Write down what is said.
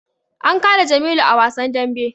An kada jamilu a wasan dambe